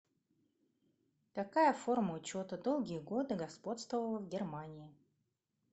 какая форма учета долгие годы господствовала в германии